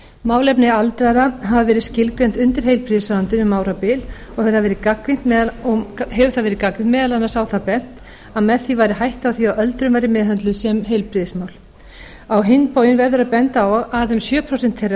málefni aldraðra hafa verið skilgreind undir heilbrigðisráðuneytinu um árabil og hefur það verið gagnrýnt og meðal annars á það bent að með því væri hætta á því að öldrun væri meðhöndluð sem heilbrigðismál á hinn bóginn verður að benda á að um sjö prósent þeirra